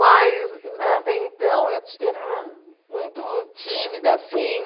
Mas, até então, eu ti era muito tímida assim.